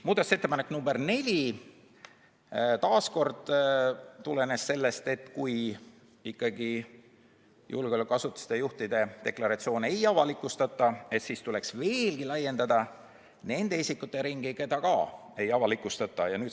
Muudatusettepanek nr 4 tulenes taas sellest, et kui ikkagi julgeolekuasutuste juhtide deklaratsioone ei avalikustata, siis tuleks veelgi laiendada nende isikute ringi, kelle deklaratsioone ei avalikustata.